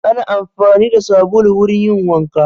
Ana amfani da sabulu wurin yin wanka.